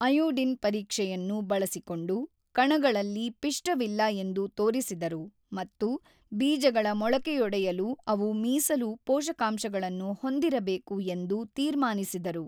Iodine ಪರೀಕ್ಷೆಯನ್ನು ಬಳಸಿಕೊಂಡು ಕಣಗಳಲ್ಲಿ ಪಿಷ್ಟವಿಲ್ಲ ಎಂದು ತೋರಿಸಿದರು ಮತ್ತು ಬೀಜಗಳ ಮೊಳಕೆಯೊಡೆಯಲು ಅವು ಮೀಸಲು ಪೋಷಕಾಂಶಗಳನ್ನು ಹೊಂದಿರಬೇಕು ಎಂದು ತೀರ್ಮಾನಿಸಿದರು.